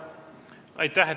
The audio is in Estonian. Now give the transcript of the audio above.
Aitäh!